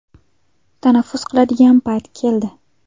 Tanaffus qiladigan payt keldi.